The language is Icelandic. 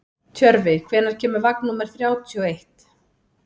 Tjörfi, hvenær kemur vagn númer þrjátíu og eitt?